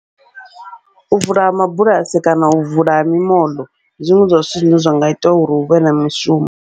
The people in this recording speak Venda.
U vula ha mabulasi kana u vula ha mimoḽo, ndi zwiṅwe zwa zwithu zwine zwanga ita uri huvhe na mishumo.